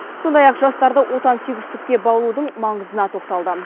сондай ақ жастарды отансүйгіштікке баулудың маңызына тоқталды